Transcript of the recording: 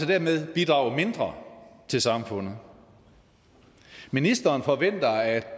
dermed bidrage mindre til samfundet ministeren forventer at